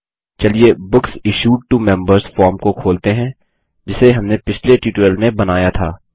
चलिए books issued to members form को खोलते हैं जिसे हमने पिछले ट्यूटोरियल में बनाया था